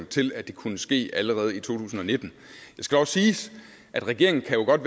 til at det kunne ske allerede i to tusind og nitten det skal også siges at regeringen jo godt